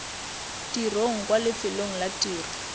tirong kwa lefelong la tiro